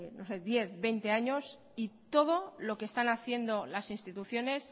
diez veinte años y todo lo que están haciendo las instituciones